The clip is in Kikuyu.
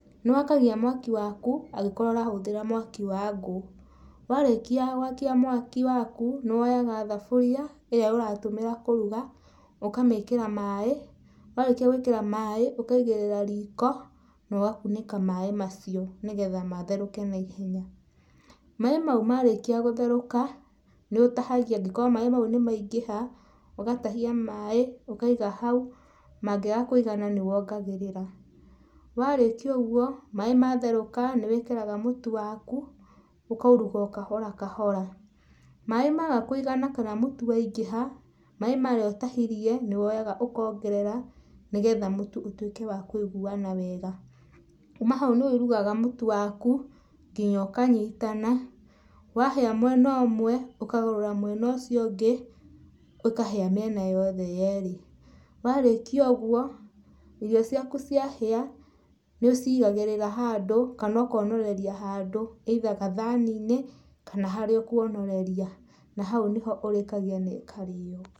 Niwakagia mwaki waku angĩkorwo ũrahũthĩra mwaki wangũ, warĩkia gũakia mwaki waku, nĩwoyaga thaburia ĩria ũratũmĩra kũruga ũkamĩkĩra maaĩ, warĩkia gũĩkĩra maaĩ, ũkaigĩrĩra riko, na ũgakunĩka maaĩ macio nĩgetha maherũke naihenya, maaĩ mau marĩkia gũtherũka nĩũtahagia, angĩkorwo maaĩ mau nĩmaingĩha ugatahia maaĩ ũkaiga hau, mangĩaga kũigana nĩwongagĩrĩra, warĩkia ũguo maaĩ matherũka nĩwĩkĩraga mũtu waku ũkairuga okahora kahora, Maaĩ maga kũigana kana mũtu waingĩha, maaĩ marĩa ũtahirie nĩwoyaga ũkongerera nĩgetha mũtu ũtuĩke wakũiguana wega, kuma hau nĩwĩĩrugaga mũtu waku nginya ũkanyitana wahia mũena ũmwe, ũkagarũra mwena ũcio ũngĩ ĩkahĩa mĩena yothe yerĩ, warĩkia ũguo irio ciaku ciĩhia nĩũcigagĩrĩra handũ kana okonoreria handũ, ĩitha gathaninĩ, kana harĩa ũkwonoreria, na hau nĩho ũrĩkagia na ĩkarĩo.